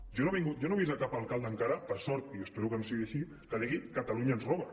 home jo no he vist cap alcalde encara per sort i espero que no sigui així que digui catalunya ens roba